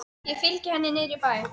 Ég fylgi henni niður í bæ.